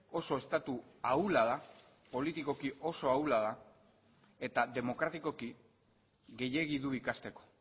oso estatu ahula da politikoki oso ahula da eta demokratikoki gehiegi du ikasteko